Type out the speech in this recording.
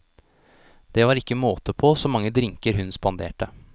Det var ikke måte på så mange drinker hun spanderte.